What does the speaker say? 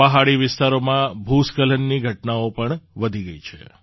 પહાડી વિસ્તારોમાં ભૂસ્ખલનની ઘટનાઓ પણ થઈ છે